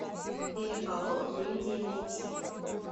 переполох в индии найти